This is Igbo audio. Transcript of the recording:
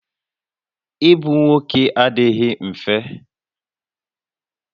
Ịbụ nwoke adịghị mfe